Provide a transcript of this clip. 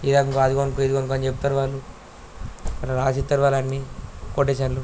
ఈ రకంగా అది కొనుక్కో ఇది కొనుక్కో అని చెప్తారు వాళ్ళు. రాసిత్తారు వాళ్ళు అన్ని కొటేషన్ లు .